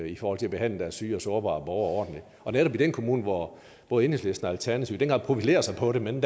i forhold til at behandle deres syge og sårbare borgere og netop den kommune hvor både enhedslisten og alternativet i den grad profilerer sig på det men